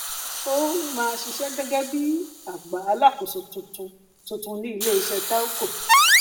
ó um ma ṣiṣẹ gẹgẹ bí agbà alákòóso tuntun tuntun ní iléiṣẹ telco